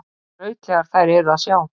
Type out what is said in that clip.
Skrautlegar þær eru að sjá.